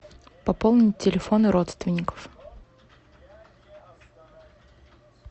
пополнить телефоны родственников